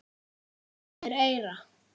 Ljáðu mér eyra.